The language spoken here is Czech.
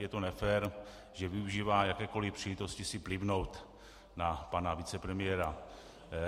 Je to nefér, že využívá jakékoli příležitosti si plivnout na pana vicepremiéra.